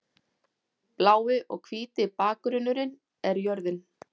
Blái og hvíti bakgrunnurinn er jörðin.